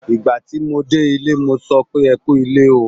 Ìgbà tí mo dé ilé, mo sọ pé "ẹ kú ilé o".